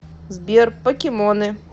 сбер покемоны